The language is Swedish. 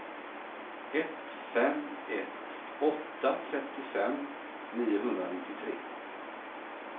ett fem ett åtta trettiofem niohundranittiotre